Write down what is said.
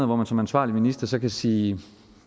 hvor man som ansvarlig minister så kan sige